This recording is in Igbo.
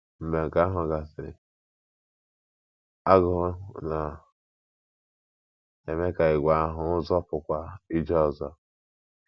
Mgbe nke ahụ gasịrị, agụụ na - eme ka ìgwè ahụhụ ahụ zọpụkwa ije ọzọ.